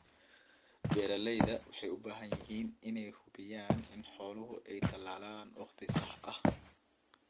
Beeralayda waxa ay u baahan yihiin in ay hubiyaan in xooluhu ay talaalaan wakhtiga saxda ah.